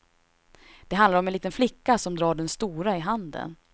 Det handlar om en liten flicka som drar den stora i handen.